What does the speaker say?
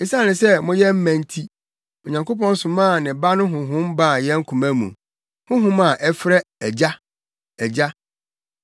Esiane sɛ moyɛ mma nti, Onyankopɔn somaa ne Ba no Honhom baa yɛn koma mu, Honhom a ɛfrɛ “Agya, Agya.”